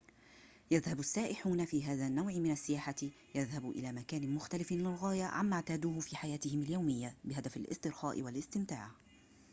يذهب السائحون في هذا النوع من السياحة يذهب إلى مكان مختلف للغاية عما اعتادوه في حياتهم اليومية بهدف الاسترخاء والاستمتاع